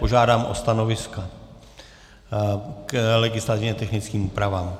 Požádám o stanoviska k legislativně technickým úpravám.